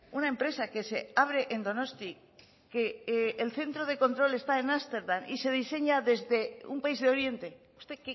una empresa que se abre en donosti que el centro de control está en ámsterdam y se diseña desde un país de oriente usted